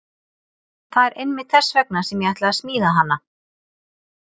Það er einmitt þess vegna sem ég ætla að smíða hana.